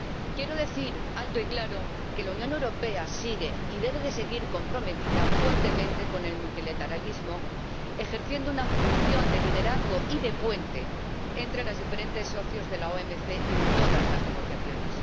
Quiero decir alto y claro que la Unión Europea sigue y debe seguir comprometida fuertemente con el multilateralismo, ejerciendo una función de liderazgo y de puente entre los diferentes socios de la OMC en todas las negociaciones.